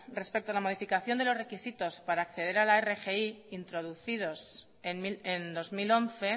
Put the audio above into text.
respecto a la modificación de los requisitos para acceder a la rgi introducidos en dos mil once